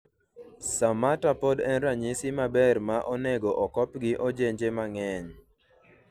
Samata pod en ranyisi maber ma onego okop gi ojenje mang'eny